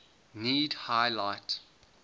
need high light